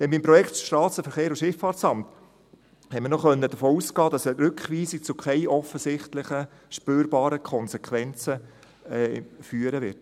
Denn beim Projekt SVSA konnten wir noch davon ausgehen, dass eine Rückweisung zu offensichtlichen, spürbaren Konsequenzen führen wird.